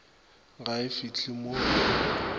ga e fihle mo e